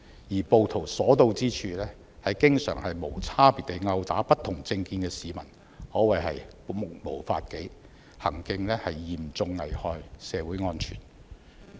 而暴徒所到之處，經常無差別地毆打不同政見的市民，可謂目無法紀，行徑嚴重影響社會安全。